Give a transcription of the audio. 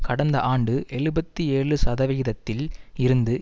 கடந்த ஆண்டு எழுபத்தி ஏழு சதவிகிதத்தில் இருந்து